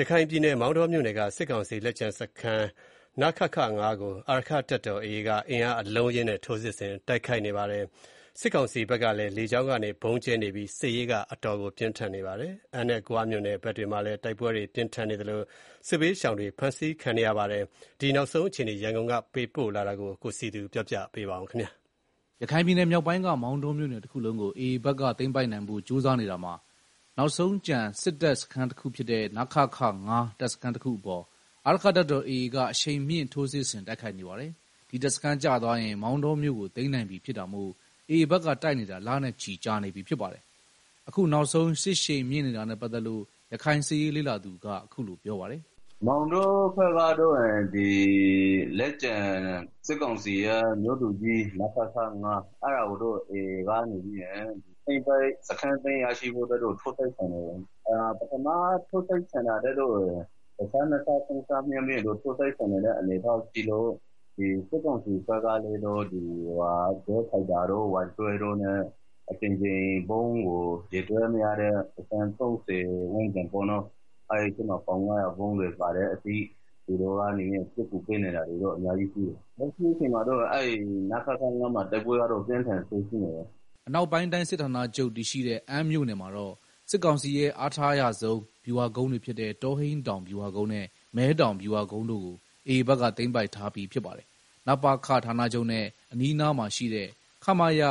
ရခိုင်ပြည်နယ် မောင်တောမြို့နယ်က စစ်ကောင်စီလက်ကျန် တပ်စခန်း နခခ ၅ ကို အာရက္ခတပ်တော် AA က အင်အားအလုံးအရင်းနဲ့ ထိုးစစ်ဆင်တိုက်ခိုက်နေပါတယ်။ စစ်ကောင်စီဘက်ကလည်း လေကြောင်းကဗုံးကြဲနေပြီး စစ်ရေးပြင်းထန်နေပါတယ်။ အမ်းနဲ့ ဂွမြို့နယ်ဘက်တွေမှာလည်း တိုက်ပွဲတွေပြင်းထန်နေသလို စစ်ဘေးရှောင်တွေ ဖမ်းဆီးခံနေရပါတယ်။ ရခိုင်စစ်ရေးပဋိပက္ခ နောက်ဆုံးအခြေအနေ ရန်ကုန်ကပေးပို့တဲ့သတင်းကိုအခြေခံပြီး တင်ပြထားပါတယ်။ ရခိုင်ပြည်နယ်မြောက်ပိုင်းက မောင်တောမြို့နယ်တခုလုံးကို AA ဘက်က သိမ်းပိုက်နိုင်ဖို့ ကြိုးစားနေတာမှာ နောက်ဆုံးကျန်စစ်တပ်စခန်းဖြစ်တဲ့ နခခ(၅) တပ်စခန်းတခုအပေါ် အာရက္ခတပ်တော်AA က အရှိန်မြှင့် ထိုးစစ်ဆင် တိုက်ခိုက်နေပါတယ်။ ဒီတပ်စခန်းကျသွားရင် မောင်တောမြို့ကို သိမ်းနိုင်ပြီဖြစ်တာမို့ AA ဘက်က တိုက်နေတာ လနဲ့ချီရှိနေပြီ ဖြစ်ပါတယ်။ အခုနောက်ဆုံး စစ်ရှိန်မြင့်နေတာနဲ့ပတ်သက်လို့ ရခိုင်စစ်ရေးလေ့လာသူက အခုလိုပြောပြပါတယ်။ “မောင်တောဘက်မှာတော့ စစ်ကောင်စီရဲ့ လက်ကျန်မြို့သူကြီး နခခ ၅ အဲဒါကို AA က စခန်းသိမ်းရရှိဖို့အတွက် ထိုးစစ်ဆင်နေတယ်၊ ပထမထိုးစစ်ဆင်တာထက်တော့ တဆနှစ်ဆမြင့်ပြီးတော့ ထိုးစစ်ဆင်နေတဲ့ အနေအထားရှိလို့ စစ်ကောင်စီဘက်ကလည်း ဂျက်ဖိုက် တာတို့ Y12 တို့နဲ့ အကြိမ်ကြိမ် ဗုံးကို ရေတွက်လို့မရအောင် ကြဲတယ် အဲဒီထဲမှာ ပေါင် ၅၀၀ ဗုံးတွေပါတယ်၊သူတို့က စစ်ကူပေးနေတာတော့ အများကြီးရှိတယ်။ လက်ရှိမှာ တော့ နခခ ၅ မှာ တိုက်ပွဲကတော့ အပြင်းထန်ဆုံးဖြစ်နေတယ်။” အနောက်ပိုင်းတိုင်းစစ်ဌာနချုပ်တည်ရှိတဲ့ အမ်းမြို့နယ်မှာတော့ စစ်ကောင်စီရဲ့ အားထားအရဆုံး ဗျူဟာကုန်းတွေဖြစ်တဲ့ တောဟိန်းတောင်ဗျူဟာကုန်းနဲ့ မဲတောင် ဗျူဟာကုန်းတို့ကို AA ဘက်က သိမ်းပိုက်ထားပြီးဖြစ်ပါတယ်။ နပခဌာနချုပ်နဲ့ အနီးအနားမှာရှိတဲ့ ခမရ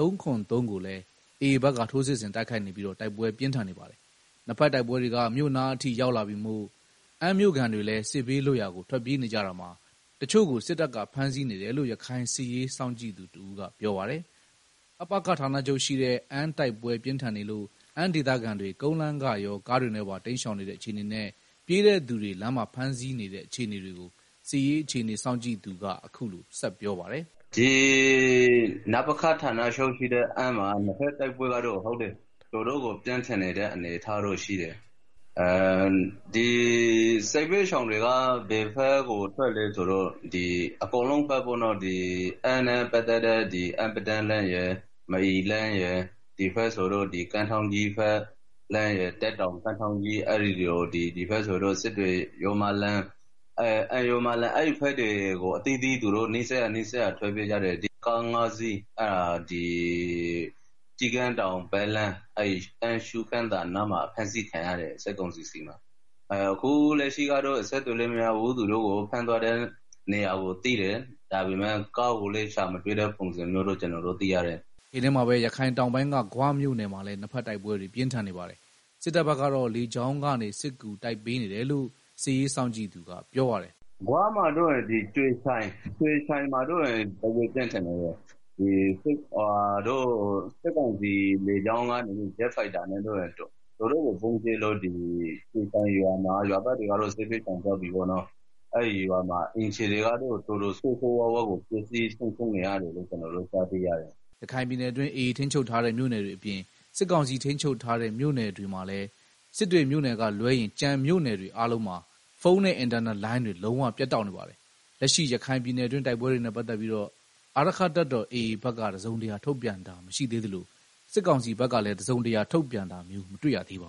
၃၇၃ ကိုလည်း AA ဘက်က ထိုးစစ်ဆင်တိုက်ခိုက်နေပြီး တိုက်ပွဲပြင်းထန်နေပါတယ်။ နှစ်ဘက်တိုက်ပွဲတွေက မြို့နားရောက်နေပြီမို့ အမ်းမြို့ခံတွေလည်း စစ်ဘေးလွတ်ရာကို ထွက်ပြေးနေကြတာမှာ တချို့ကို စစ်တပ်က ဖမ်းဆီးနေတယ်လို့ ရခိုင်စစ်ရေးစောင့်ကြည့်နေသူတဦးက ပြောပါတယ်။ နပခဌာနချုပ်ရှိတဲ့ အမ်း တိုက်ပွဲ ပြင်းထန်နေလို့ အမ်းဒေသခံတွေ ကုန်းလမ်းကရော ကားတွေနဲ့ပါ တိမ်းရှောင်နေတဲ့အခြေအနေနဲ့ ပြေးတဲ့သူတွေကို လမ်းမှာ ဖမ်းဆီးနေတဲ့အခြေအနေကို စစ်ရေးအခြေအနေစောင့်ကြည့်သူက အခုလို ဆက်ပြောပြပါတယ်။ “ နပခဌာနချုပ်ရှိတဲ့ အမ်းမှာ တိုက်ပွဲကတော့ တော်တော့ကို ပြင်းထန်နေတဲ့ အနေအထား ရှိတယ်။ စစ်ဘေးရှောင်ကို ဘယ်ဘက်ကို ထွက်ကြလဲဆိုတော့ အကုန်လုံးဘက် ပေါ့နော်၊ အမ်းနဲ့ ပတ်သတ်တဲ့ အမ်းပဒန်းလမ်းရယ်၊ မအီလမ်းရယ်၊ ဒီဘက်ဆိုတော့ ဒီကမ်း ထောင်း ကြီးဘက် တပ်တောင် - ကမ်းထောင်းကြီး လမ်း စစ်တွေ ရိုးမလမ်း၊ အဲဒီဘက်တွေကို အသီးသီး နီးစပ်ရာ နီးစပ်ရာ ထွက်ပြေးကြတယ်၊ အဲဒီထဲက ကားငါးစီးကတော့ ဒီ ကျီး ကန်းတောင်ပတ်လမ်း အမ်းရှု့ခင်းသာနားမှာ ဖမ်းဆီးခံရတယ် စစ်ကောင်စီဆီမှာ၊ အခုလက် ရှိကတော့ အဆက်အသွယ်လည်းမရဘူးသူတို့ကို ဖမ်းသွားတဲ့ နေရာကို သိတယ် ဒါပေမယ့် ကားကိုလည်း ရှာမရဘူးလို့သိရတယ်။” တချိန်တည်းမှာပဲ ရခိုင်တောင်ပိုင်းက ဂွမြို့နယ်မှာလည်း နှစ်ဘက်တိုက်ပွဲတွေ ပြင်းထန်နေပါတယ်။ စစ်တပ်ဘက်ကတော့ လေကြောင်းကနေ စစ်ကူတိုက်ပေးနေတယ်လို့ စစ်ရေးစောင့်ကြည့်သူက ပြောပြပါတယ်။ “ ဂွမှာတော့ ဒီ ကြွေချိုင်မှာတော့ တိုက်ပွဲပြင်းထန်နေတယ်။ စစ်ကောင်စီလေကြောင်းကတော့ ဂျက်ဖိုက်တာနဲ့ ဗုံးကြဲလို့ ရွာသားတွေကတော့ စစ်ဘေးရှောင်သွားပြီပေါ့နော်။ အဲ့ရွာမှာ အိမ်ခြေတွေကတော့ တော်တော်ဆိုးဆိုးရွားရွားပျက်စီး နေရတယ်လို့ ကျနော်တို့ ကြားသိရတယ်။” ရခိုင်ပြည်နယ်အတွင်း AA ထိန်းချုပ်ထားတဲ့ မြို့နယ်တွေအပြင် စစ်ကောင်စီ ထိန်းချုပ်ထားတဲ့ မြို့နယ်တွေမှာလည်း စစ်တွေမြို့နယ်ကလွဲရင် ကျန်မြို့နယ်အားလုံးမှာ ဖုန်းနဲ့ အင်တာနက်လိုင်းတွေ လုံးဝပြတ်တောက်နေပါတယ်။ လက်ရှိရခိုင်ပြည်နယ်တွင်း တိုက်ပွဲတွေနဲ့ ပတ်သတ်ပြီးအာရက္ခတပ်တော်AAဘက်က တစုံတရာထုတ်ပြန်တာမရှိသေးသလို စစ်ကောင်စီဘက်က တစုံတရာထုတ်ပြန်တာမျိုး မတွေ့ရပါ